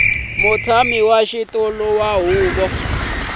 mutshami wa xitulu wa huvo